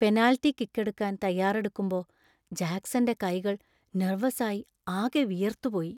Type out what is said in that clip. Penalty kick എടുക്കാൻ തയ്യാറെടുക്കുമ്പോ ജാക്സന്‍റെ കൈകൾ നെർവസ് ആയി ആകെ വിയർത്തുപോയി.